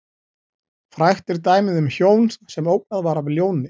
Frægt er dæmið um hjón sem ógnað var af ljóni.